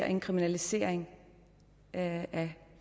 en kriminalisering af